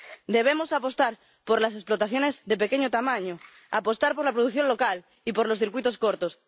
Debemos apostar por las explotaciones de pequeño tamaño, apostar por la producción local y por los circuitos cortos.